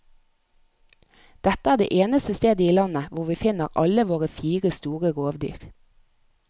Dette er det eneste stedet i landet hvor vi finner alle våre fire store rovdyr.